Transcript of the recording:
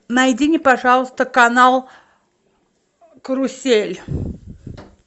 найди мне пожалуйста канал карусель